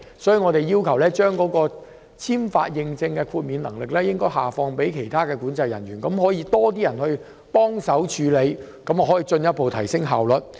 所以，我們要求將簽發豁免認證文件的權力下放予其他管制人員，讓更多人協助處理，進一步提升效率。